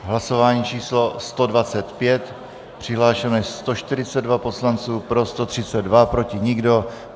Hlasování číslo 125, přihlášeno je 142 poslanců, pro 132, proti nikdo.